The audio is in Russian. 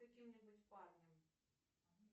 каким нибудь парнем